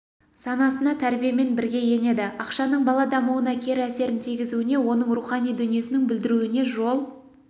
санасына тәрбиемен бірге енеді ақшаның бала дамуына кері әсерін тигізуіне оның рухани дүниесін бүлдіруіне жол